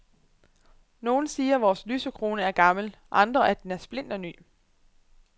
Nogle siger vores lysekrone er gammel, andre at den er splinterny.